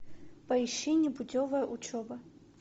поищи непутевая учеба